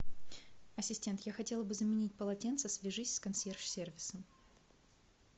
ассистент я хотела бы заменить полотенца свяжись с консьерж сервисом